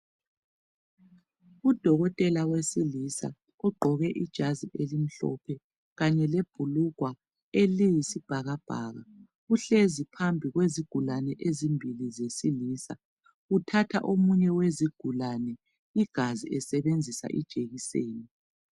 Udokotela wesilisa ugqoke ijazi elimhlophe, kanye lebhulugwa eliyisibhakabhaka. Uhlezi phambi kwezigulane ezimbili zesilisa. Uthatha omunye wezigulane igazi, esebenzisa ijekiseni.